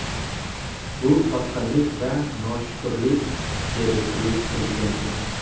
Bu sotqinlik va noshukrlik”, dedi klub prezidenti.